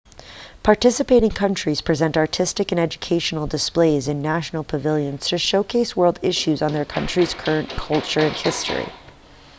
participating countries present artistic and educational displays in national pavilions to showcase world issues or their country's culture and history